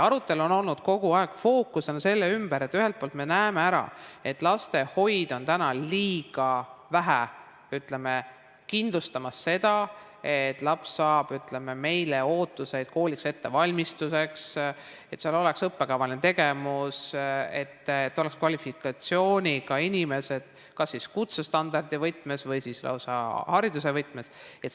Arutelul on olnud kogu aeg fookus selle ümber, et ühelt poolt me näeme, et lastehoid on liiga vähe kindlustamas seda, et laps saab – ütleme, et meil on see ootus – kooliks ettevalmistuse, et seal oleks õppekavaline tegevus, oleks kvalifikatsiooniga inimesed kas kutsestandardi võtmes või lausa hariduse võtmes.